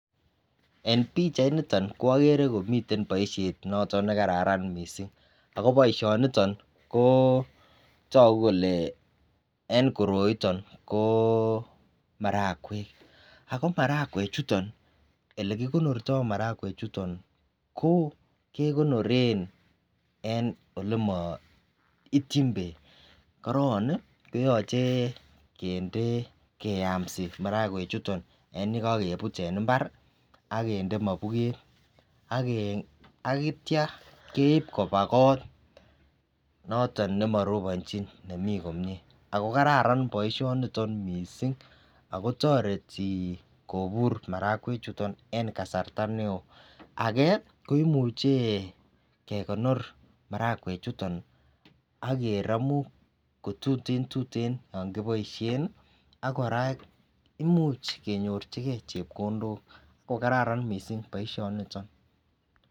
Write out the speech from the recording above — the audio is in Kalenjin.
Eng pichait nitoni agere komiten boisyet noton nekararan mising ako boisyoniton kotoku kole eng koroiton ko marakwek, ako marakwek chuton ,ele kikonorto marakwek chuton ko kekonoren eng olema ityin bek ,koron keyamsi marakwek chuton yon kakebut eng imbari akinde mabukett ,akitya keib koba kot noton nebarobanchin nemi komye, ako kararan boisyoniton mising ,ako toreti kobur marakwek chuton kobur eng kasarta nekoi, ake koimuche kekonoren marakwek chuton akeramu kotuten tuteno yon kiboisyen, ak koraa imuch kenyorchiken chepkondok, kokararan missing boisyoniton.